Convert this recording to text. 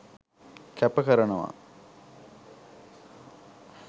කැප කරනවා